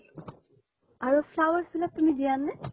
আৰু flowers বিলাক তুমি দিয়া নে?